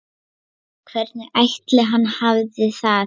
Hvernig ætli hann hafi það?